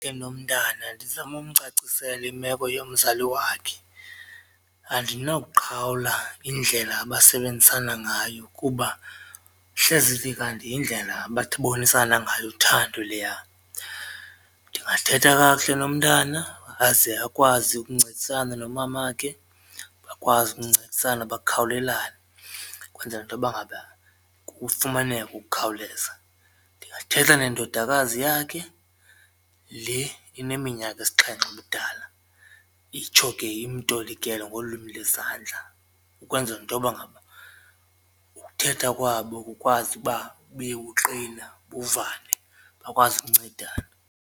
Enomntana ndizame umcacisela imeko yomzali wakhe andinakuqhawula indlela abasebenzisana ngayo kuba hleze ithi kanti yindlela bathi bonisana ngayo uthando leya. Ndingathetha kakuhle nomntana aze akwazi ukuncedisana nomamakhe bakwazi ukuncedisana bakhawulelane ukwenzela intoba ngaba kufumaneke ukukhawuleza. Ndingathetha nendodakazi yakhe le ineminyaka esixhenxe ubudala itsho ke imtolikele ngolwimi lwezandla ukwenzela intoba ngaba ukuthetha kwabo kukwazi ukuba bube buqina bavane bakwazi ukuncedana.